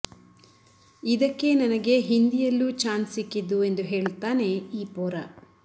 ಇದಕ್ಕೇ ನನಗೆ ಹಿಂದಿಯಲ್ಲೂ ಛಾನ್ಸ್ ಸಿಕ್ಕಿದ್ದು ಎಂದು ಹೇಳುತ್ತಾನೆ ಈ ಪೋರ